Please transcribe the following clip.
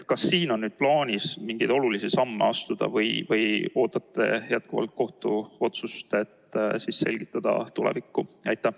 Kas siin on plaanis mingeid olulisi samme astuda või ootate jätkuvalt kohtuotsust, et siis selgitada seda tulevikus?